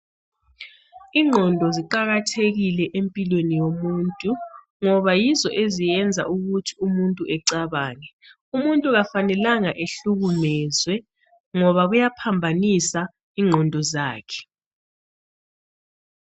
Ingqondo ziqakathekile empilweni yomuntu ngoba yizo eziyenza ukuthi umuntu ecabange umuntu akufanelanga ahlukunyezwe ngoba kuyaphambanisa ingqondo zakhe.